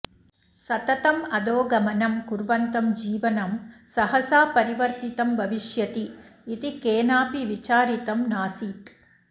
सततम् अधोगमनं कुर्वन्तं जीवनं सहसा परिवर्तितं भविष्यति इति केनाऽपि विचारितं नासीत्